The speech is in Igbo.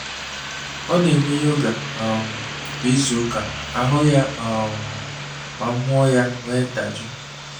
Ọ n'eme yoga um kwa izu ka ahụ ya um ma mmuo ya nwee ndajọ